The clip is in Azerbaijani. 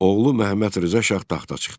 Oğlu Məhəmməd Rza Şah taxta çıxdı.